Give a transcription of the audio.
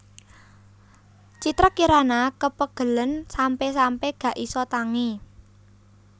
Citra Kirana kepegelen sampe sampe gak iso tangi